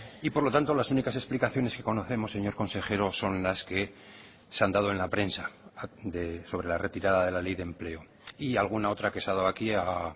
y por lo tanto las únicas explicaciones que conocemos señor consejero son las que se han dado en la prensa sobre la retirada de la ley de empleo y alguna otra que se ha dado aquí a